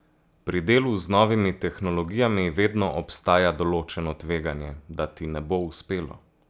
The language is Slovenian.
Pri delu z novimi tehnologijami vedno obstaja določeno tveganje, da ti ne bo uspelo.